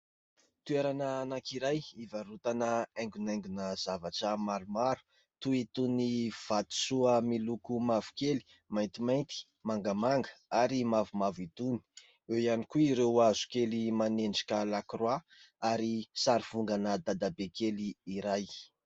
Toerana anankiray hivarotana haingonaingona zavatra maromaro toy itony ny vatosoa miloko mavokely, maintymainty, mangamanga ary mavomavo itony ; eo ihany koa ireo hazo kely manendrika lakroa ary sary vongana dadabe kely iray.